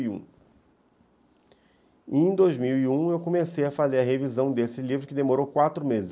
e um e em dois mil e um, eu comecei a fazer a revisão desse livro, que demorou quatro meses.